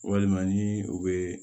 Walima ni u bɛ